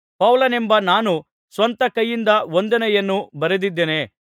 ಪೌಲನೆಂಬ ನಾನು ಸ್ವಂತ ಕೈಯಿಂದ ವಂದನೆಯನ್ನು ಬರೆದಿದ್ದೇನೆ